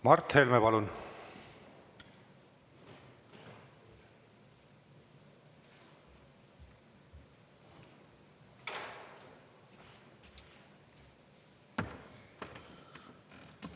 Mart Helme, palun!